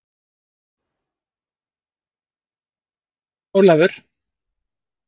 Hver er þetta með þér, Herra Jón Ólafur?